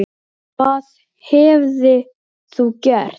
Þín Halla Katrín.